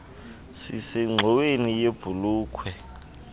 sisengxoweni yebh ulukh